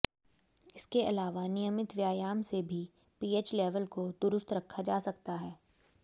इसके अलावा नियमित व्यायाम से भी पीएच लेवल को दुरुस्त रखा जा सकता है